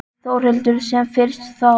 Þórhildur: Sem fyrst þá?